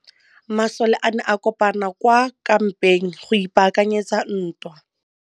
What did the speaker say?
Masole a ne a kopane kwa kampeng go ipaakanyetsa ntwa.